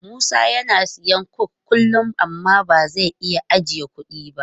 Musa yana siyan coke kullum amma ba zai iya ajiye kudi ba.